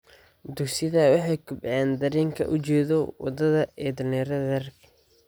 Dugsiyadu waxay kobciyaan dareenka ujeedo wadaaga ee dhalinyarada rer .